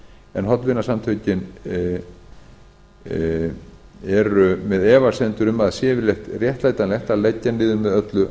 en hollvinasamtökin eru með efasemdir um að sé yfirleitt réttlætanlegt að leggja niður með öllu